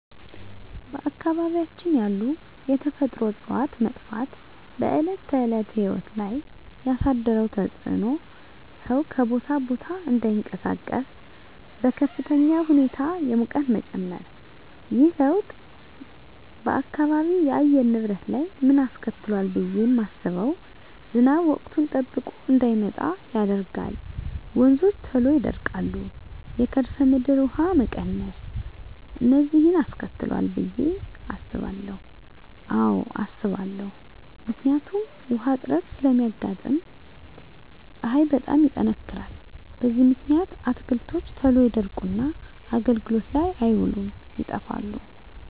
በአካባቢያችን ያሉ የተፈጥሮ እፅዋት መጥፋት በዕለት ተዕለት ሕይወት ላይ ያሣደረው ተፅኖ ሠው ከቦታ ቦታ እዳይንቀሣቀስ፤ በከፍተኛ ሁኔታ የሙቀት መጨመር። ይህ ለውጥ በአካባቢው የአየር ንብረት ላይ ምን አስከትሏል ብየ ማስበው። ዝናብ ወቅቱን ጠብቆ እዳይመጣ ያደርጋል፤ ወንዞች ቶሎ ይደርቃሉ፤ የከርሠ ምድር ውሀ መቀነስ፤ እነዚን አስከትሏል ብየ አስባለሁ። አዎ አስባለሁ። ምክንያቱም ውሀ እጥረት ስለሚያጋጥም፤ ፀሀይ በጣም ይጠነክራል። በዚህ ምክንያት አትክልቶች ቶሎ ይደርቁና አገልግሎት ላይ አይውሉም ይጠፋሉ።